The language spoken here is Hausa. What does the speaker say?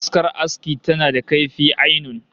Askar aski tana da kaifi ainun